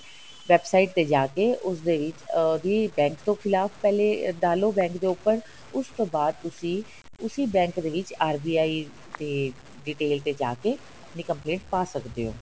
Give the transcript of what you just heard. website ਤੇ ਜਾਕੇ ਉਸਦੇ ਵਿੱਚ ਅਹ ਵੀ bank ਤੋਂ ਖਿਲਾਫ਼ ਪਹਿਲੇ ਡਾਲੋ bank ਦੇ ਉੱਪਰ ਉਸ ਤੋਂ ਬਾਅਦ ਤੁਸੀਂ ਉਸੀ bank ਦੇ ਵਿੱਚ RBI ਤੇ detail ਤੇ ਜਾਕੇ ਆਪਣੀ complaint ਪਾ ਸਕਦੇ ਹੋ